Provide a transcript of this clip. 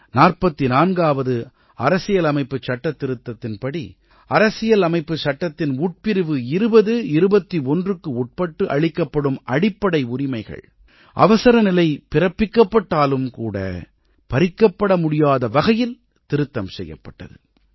44ஆவது அரசியலமைப்புச் சட்டத்திருத்தத்தின்படி அரசியல் அமைப்புச் சட்டத்தின் உட்பிரிவு 20 21க்கு உட்பட்டு அளிக்கப்படும் அடிப்படை உரிமைகள் அவசரநிலை பிறப்பிக்கப்பட்டாலும் கூட பறிக்கப்பட முடியாத வகையில் திருத்தம் செய்யப்பட்டது